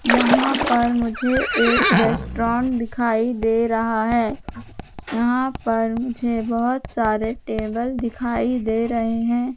यहां पर मुझे एक रेस्ट्रों दिखाई दे रहा है यहां पर मुझे बहोत सारे टेबल दिखाई दे रहे हैं।